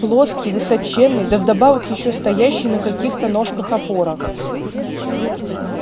плоский высоченный да вдобавок ещё стоящий на каких-то ножках-опорах